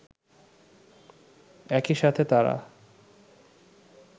একইসাথে তারা